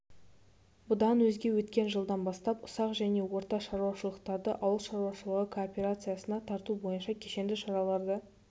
бұдан өзге өткен жылдан бастап ұсақ және орта шаруашылықтарды ауыл шаруашылығы кооперациясына тарту бойынша кешенді шараларды